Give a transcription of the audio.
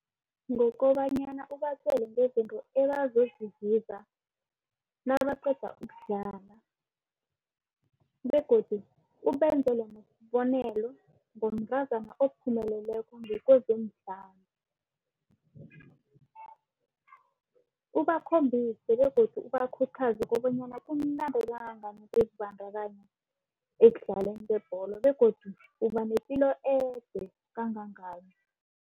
Ngokobanyana ubatjele ngezinto ebazozizuza nabaqeda ukudlala begodu ubenzele nesibonelo ngomntazana ophumeleleko ngokwezemidlalo. Ubakhombise begodu ubakhuthaze kobanyana kumnandi kangangani ukuzibandakanye ekudlaleni zebholo begodu ubanepilo ede kangangani.